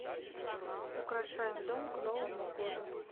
украшаем дом к новому году